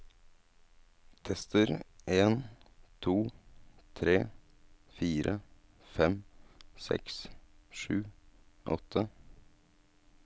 Tester en to tre fire fem seks sju åtte